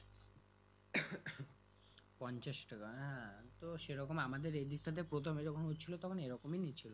পঞ্চাশ টাকা হ্যাঁ তো সেরকম আমাদের এদিকটাতে প্রথমে যখন হচ্ছিলো তখন এরকমই নিচ্ছিলো